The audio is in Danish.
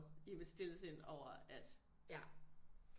I mit stille sind over at